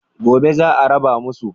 Gobe za a raba musu.